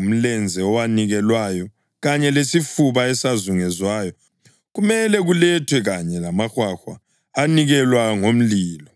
Umlenze owanikelwayo kanye lesifuba esazunguzwayo kumele kulethwe kanye lamahwahwa anikelwa ngomlilo,